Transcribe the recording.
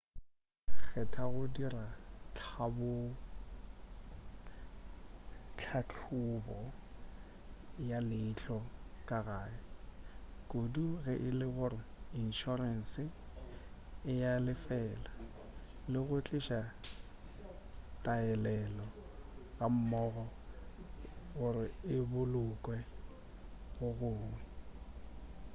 kgetha go dira tlhahlobo ya leihlo ka gae kudu ge e le gore inšorense e a le lefela le go tliša taelelo gammogo gore e bolokwe go gongwe